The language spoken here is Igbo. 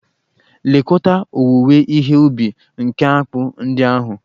Lekọta owuwe ihe ubi nke akpụ ndị ahụ!